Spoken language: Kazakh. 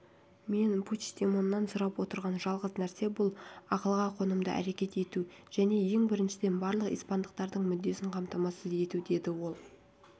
мен пучдемоннан сұрап отырған жалғыз нәрсе бұл ақылға қонымды әрекет ету және ең біріншіден барлық испандықтардың мүддесін қамтамасыз ету деді ол